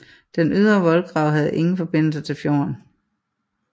Den ydre voldgrav havde ingen forbindelse til fjorden